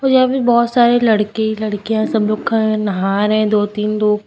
यहाँ भी बहोत सारे लड़के लड़कियां सब लोग खड़े नहा रहे दो तीन लोग।